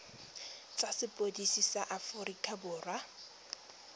tsa sepodisi sa aforika borwa